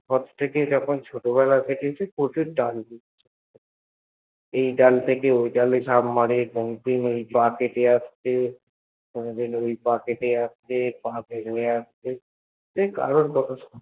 ঘর থেকেই ছোটবেলা থেকেই প্রচুর ডানপিটে ছিল এই ডাল থেকে ঐ ডালে ঝাঁপ মারে continue এই পা কেটে যাচ্ছে পা মুড়ে আসছে সে কারুর কথা শোনেনি